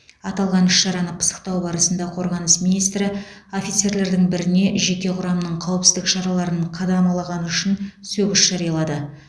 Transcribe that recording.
аталған іс шараны пысықтау барысында қорғаныс министрі офицерлердің біріне жеке құрамның қауіпсіздік шараларын қадамалағаны үшін сөгіс жариялады